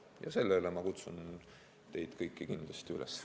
Ja sellele ma kutsun teid kõiki kindlasti üles.